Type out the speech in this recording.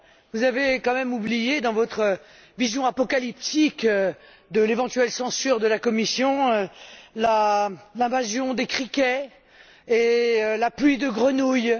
Vous avez quand même oublié, dans votre vision apocalyptique de l'éventuelle censure de la Commission, l'invasion des criquets et la pluie de grenouilles.